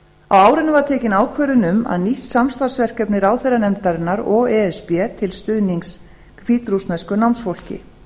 árinu var tekin ákvörðun um nýtt samstarfsverkefni ráðherranefndarinnar og e s b til stuðnings hvítrússnesku námsfólki